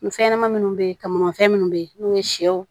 Fɛn ɲɛnɛmani minnu bɛ yen kamanfɛn minnu bɛ yen n'o ye sɛw